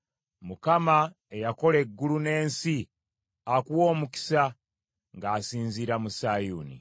Mukama eyakola eggulu n’ensi akuwe omukisa ng’asinziira mu Sayuuni.